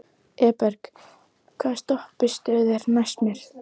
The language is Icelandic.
Eberg, hvaða stoppistöð er næst mér?